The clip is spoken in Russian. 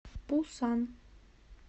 пусан